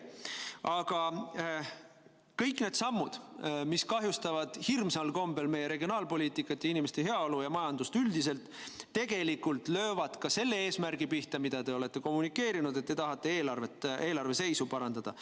Aga kõik need sammud, mis kahjustavad hirmsal kombel meie regionaalpoliitikat ja inimeste heaolu ja majandust üldiselt, tegelikult löövad ka teie eesmärgi pihta, et te tahate eelarve seisu parandada.